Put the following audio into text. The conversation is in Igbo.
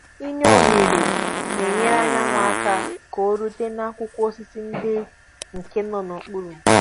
I nye oghere n'enyere anyanwu aka ka orutu na akwụkwọ osisi ndị nke nọ n'okpuru